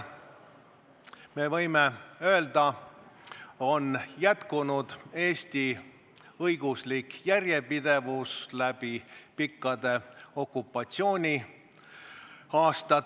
Me võime öelda, et tänu temale püsis Eesti õiguslik järjepidevus läbi pikkade okupatsiooniaastate.